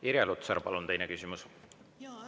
Irja Lutsar, palun, teine küsimus!